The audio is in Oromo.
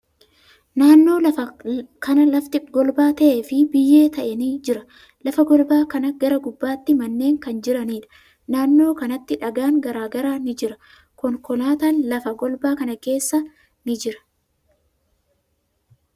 Naannoo kana lafti golba ta'ee fi biyyee ta'e ni jira. Lafa golbaa kanaa gara gubbaatti manneen kan jiraniidha. Naannoo kanatti dhagaan garagaraa ni jira. Konkolaatan lafa golbaa kana keessa ni jira.